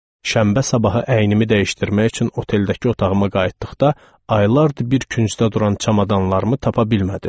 Şənbə səhəri əynimi dəyişdirmək üçün oteldəki otağıma qayıtdıqda aylardır bir küncdə duran çamadanlarımı tapa bilmədim.